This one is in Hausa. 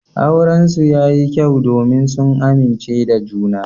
Aurensu yayi kyau domin sun amince da juna.